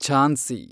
Jhansi